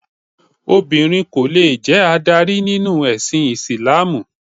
Obìnrin kò lè jẹ adarí nínú ẹ̀sìn Ìsìlámù.